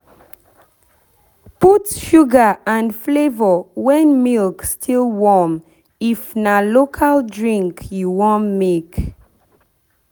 put sugar and flavour when milk still warm if na local drink you wan make.